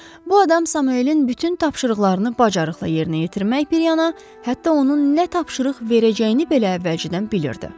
Bu adam Samuelin bütün tapşırıqlarını bacarıqla yerinə yetirmək bir yana, hətta onun nə tapşırıq verəcəyini belə əvvəlcədən bilirdi.